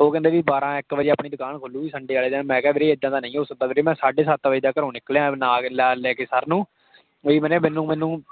ਉਹ ਕਹਿੰਦੇ ਭੀ ਬਾਰਾਂ ਇੱਕ ਵਜੇ ਆਪਣੀ ਦੁਕਾਨ ਖੁਲੂਗੀ sunday ਵਾਲੇ ਦਿਨ। ਮੈਂ ਕਿਹਾ ਵੀਰੇ ਇੱਦਾਂ ਤਾਂ ਨਹੀਂ ਹੋ ਸਕਦਾ ਵੀਰੇ, ਮੈਂ ਸਾਡੇ ਸੱਤ ਵਜੇ ਦਾ ਘਰੋਂ ਨਿੱਕਲਿਆ ਹੋਇਆਂ ਨਾਲ ਲੈ ਕੇ sir ਨੂੰ। ਬਾਈ ਬਨਿਆ ਮੈਨੂੰ